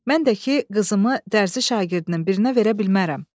Mən də ki qızımı dərsi şagirdinin birinə verə bilmərəm.